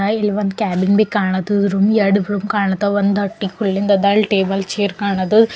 ಅಲ್ಲಿ ಒಂದು ಕ್ಯಾಲಂಬಿ ಕಾಣುತದು ರೂಮ್ ಎರಡು ರೂಮ್ ಕಾಣುತ್ತವ ಒಂದು ಹಟ್ಟಿ ಕುಳ್ಳಿಂದದ ಅಲ್ ಟೇಬಲ್ ಚೇರ್ ಕಾಣದ.